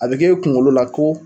A bi k' e kunkolo la ko